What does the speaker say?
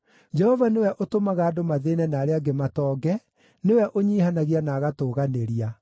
Jehova nĩwe ũtũmaga andũ mathĩĩne na arĩa angĩ matonge; nĩwe ũnyiihanagia na agatũũganĩria.